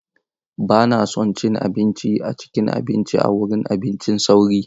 Ba na son cin abinci a cikin abinci a wurin abincin sauri.